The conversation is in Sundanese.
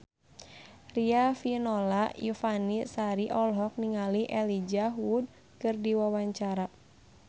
Riafinola Ifani Sari olohok ningali Elijah Wood keur diwawancara